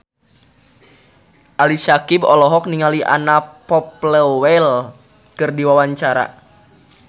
Ali Syakieb olohok ningali Anna Popplewell keur diwawancara